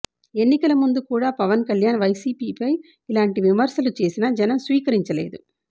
ఎన్నికల ముందు కూడా పవన్ కల్యాణ్ వైసీపీపై ఇలాంటి విమర్శలు చేసినా జనం స్వీకరించలేదు